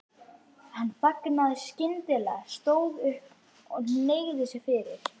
Hann þagnaði skyndilega, stóð upp og hneigði sig fyrir